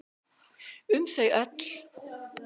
Um þau öll.